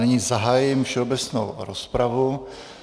Nyní zahájím všeobecnou rozpravu.